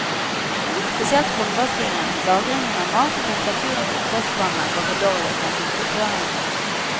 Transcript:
Spesielt håndvaskingen, lagringen av mat og temperaturen på oppvaskvannet var for dårlig, mente inspektørene.